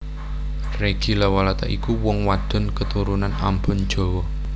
Reggy Lawalata iku wong wadon keturunan Ambon Jawa